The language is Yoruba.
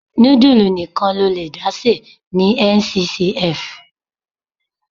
Nudulu nìkan lo lè dá se ní Nccf.